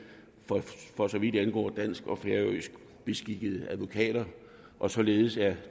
for så vidt angår dansk og færøsk beskikkede advokater og således er